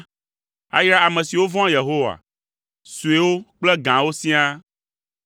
ayra ame siwo vɔ̃a Yehowa, suewo kple gãwo siaa.